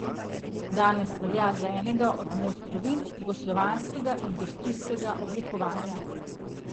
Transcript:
Danes velja za enega od mojstrovin jugoslovanskega industrijskega oblikovanja.